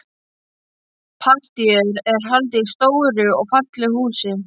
Partíið er haldið í stóru og fallegu húsi.